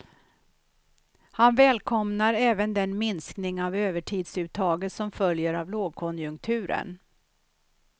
Han välkomnar även den minskning av övertidsuttaget som följer av lågkonjunkturen.